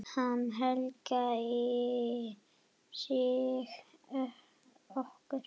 Hann helgaði sig okkur.